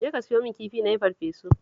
Jeka ka siyo min kifi na yi farfesu